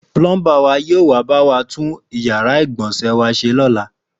Púlọ́ḿbà wa yóò wá bá wa tún yàrá ìgbọ̀nsẹ̀ wa ṣe lọ́la